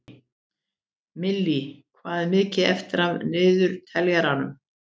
Millý, hvað er mikið eftir af niðurteljaranum?